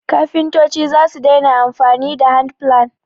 kafintoci zasu daina amfani da handplane